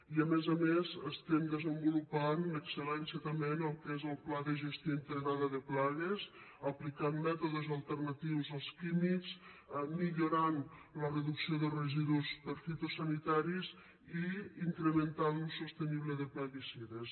i a més a més estem desenvolupant l’excel·lència també en el que és el pla de gestió integrada de plagues aplicant mètodes alternatius als químics millorant la reducció de residus per fitosanitaris i incrementant l’ús sostenible de plaguicides